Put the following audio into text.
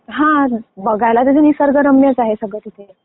बघायला तसं सगळं निसर्गरम्यच आहे सगळं तिथे.